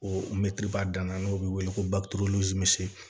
O mɛtiriba danna n'o bɛ wele ko